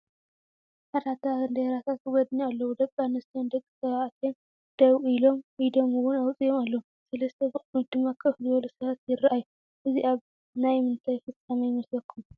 ብዙሓት ዓ/ት ባንዴራታት ብጎድኒ ኣለው፡፡ ደ/ኣንስትዮን ደ/ተባዕትዮን ደው ኢሎም ኢዶም ውን ኣውፂኦም ኣለው፡3 ብቕድሚት ድማ ከፍ ዝበሉ ሰባት ይራኣዩ፡፡ እዚ ኣብ ናይ ምንታይ ፍፃመ ይመስለኩም?